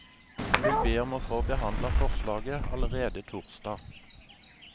Han vil be om å få behandlet forslaget allerede torsdag.